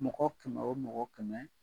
Mɔgɔ kɛmɛ wo mɔgɔ kɛmɛ